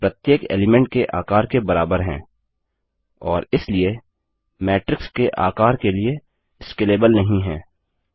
यह प्रत्येक एलीमेंट के आकार के बराबर हैं और इसलिए मैट्रिक्स के आकर के लिए स्केलेबल नहीं है